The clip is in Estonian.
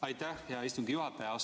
Aitäh, hea istungi juhataja!